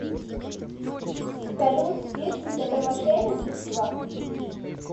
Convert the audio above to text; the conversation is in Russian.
салют фишинг это мошенничество